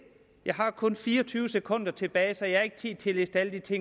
jeg har kun fire og tyve sekunder tilbage så jeg har ikke tid til at liste alle de